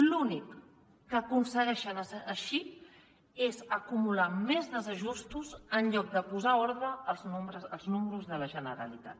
l’únic que aconsegueixen així és acumular més desajustos en lloc de posar ordre als números de la generalitat